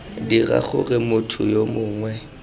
dira gore motho yo mongwe